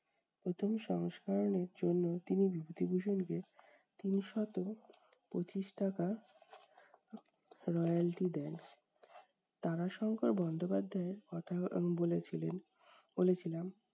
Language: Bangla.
প্রথম সংস্করণের জন্য তিনি বিভূতিভূষণকে তিনশত পঁচিশ টাকা royalty দেন। তারাশঙ্কর বন্দ্যোপাধ্যায়ের কথা উনি বলেছিলেন বলেছিলেন